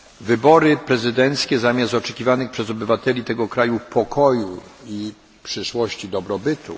Wybory prezydenckie przyniosły strach i przemoc, zamiast oczekiwanych przez obywateli tego kraju pokoju, przyszłości i dobrobytu.